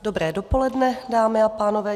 Dobré dopoledne, dámy a pánové.